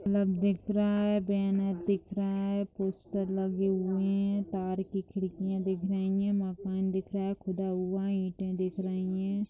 Club दिख रहा है बैनर दिख रहा है पोस्टर लगे हुए हैं तार की खिड़कियां दिख रही हैं मकान दिख रहा है खुदा हुआ ईंटे दिख रही है।